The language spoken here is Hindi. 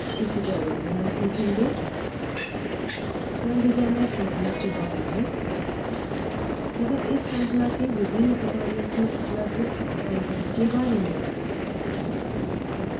इस tutorial में हम सीखेंगे सेल डिज़ाइनर श्रृंखला के बारे में तथा इस श्रृंखला के विभिन्न tutorials में उपलब्ध कंटेंट विषय वस्तु के बारे में